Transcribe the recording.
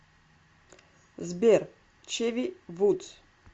сбер чеви вудс